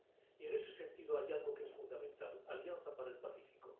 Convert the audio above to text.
Y, en ese sentido, hay algo que es fundamental la Alianza para el Pacífico.